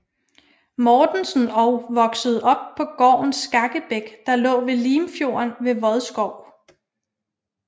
Mortensen og voksede op på gården Skakkebæk der lå ved Limfjorden ved Vodskov